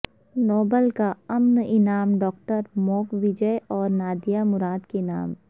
Nobel کا امن انعام ڈاکٹر موک ویجے اور نادیہ مراد کے نام